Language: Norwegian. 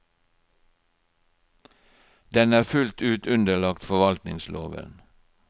Den er fullt ut underlagt forvaltningsloven.